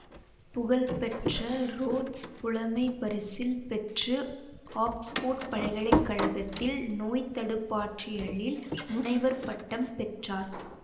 புகழ்பெற்ற ரோட்ஸ் புலமைப்பரிசில் பெற்று ஒக்ஸ்போர்ட் பல்கலை கழகத்தில் நோய்த்தடுப்பாற்றலியலில் முனைவர் பட்டம் பெற்றார்